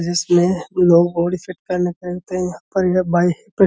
जिसमें लोग body set करने करते हैं --